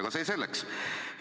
Aga see selleks.